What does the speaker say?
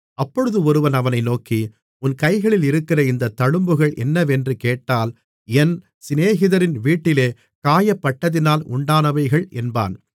அப்பொழுது ஒருவன் அவனை நோக்கி உன் கைகளில் இருக்கிற இந்த தழும்புகள் என்னவென்று கேட்டால் என் சிநேகிதரின் வீட்டிலே காயப்பட்டதினால் உண்டானவைகள் என்பான்